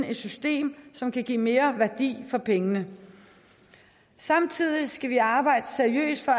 et system som kan give mere værdi for pengene samtidig skal vi arbejde seriøst for